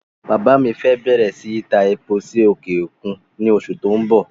Bàbá mi fẹ́ bẹ̀rẹ̀ síí ta epo sí òkè òkun ní oṣù tó n bọ̀